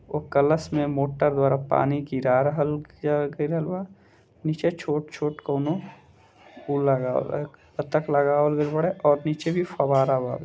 वो कलश में कलर्स मोटर द्वारा पानी गिरा रहल गइल बा निचे छोटे-छोटे कोनो उ लगावल ह बतख लगावल गइल बाडे और पीछे भी फवारा वावे।